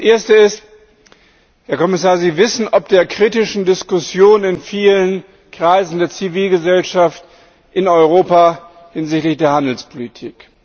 Das erste ist Herr Kommissar, Sie wissen von der kritischen Diskussion in vielen Kreisen der Zivilgesellschaft in Europa hinsichtlich der Handelspolitik.